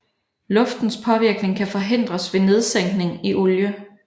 Luftens påvirkning kan forhindres ved nedsænkning i olie